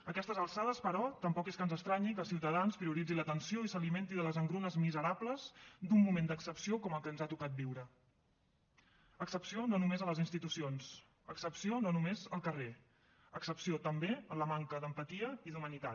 a aquestes alçades però tampoc és que ens estranyi que ciutadans prioritzi la tensió i s’alimenti de les engrunes miserables d’un moment d’excepció com el que ens ha tocat viure excepció no només a les institucions excepció no només al carrer excepció també en la manca d’empatia i d’humanitat